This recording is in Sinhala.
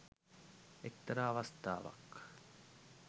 එක්තරා අවස්ථාවක්